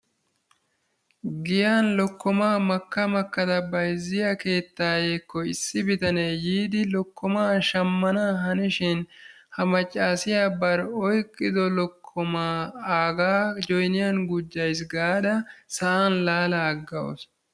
Giyan lokkomaa makka makkaada bayzziya issi keettayekko issi bitanee yiidi lokkomaa shammana hanishin ha maccaasiya bari oyqqido lookkoma aaga joyniyaan gujjays gaada sa'an laala aggawusu.